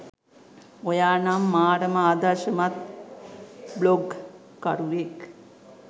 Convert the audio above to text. ඔයා නම් මාරම ආදර්ශමත් බ්ලොග් කරුවෙක්